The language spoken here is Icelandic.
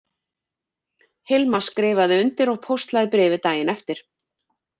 Hilma skrifaði undir og póstlagði bréfið daginn eftir